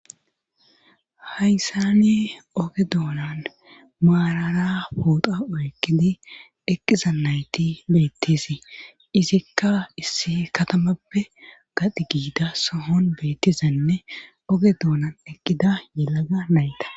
hayssani oge doonan maarara poota oykkidi eqqiza nayti beettisi izikka issi katamappe gadi giida sohon beettizanne oge doonan eqqida yilaga nayta